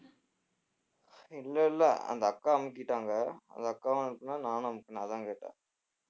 இல்ல இல்ல அந்த அக்கா அமுக்கிட்டாங்க அந்த அக்காவும் அமுக்கினா நானும் அமுக்கினேன் அதான் கேட்டேன்